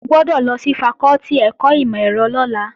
O gbọ́dọ̀ lọ sí fakọ́tì ẹ̀kọ́ ìmọ̀-ẹ̀rọ lọ́la!